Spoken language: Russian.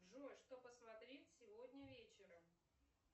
джой что посмотреть сегодня вечером